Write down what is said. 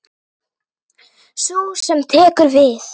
Sú sem tekur við.